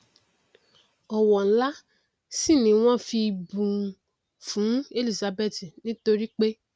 ọwọ nlá sì ni wọn fi bù fún elizabeth nítoripé